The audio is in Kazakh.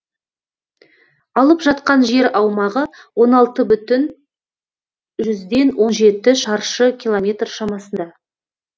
алып жатқан жер аумағы он алты бүтін жүзден он жеті шаршы километр шамасында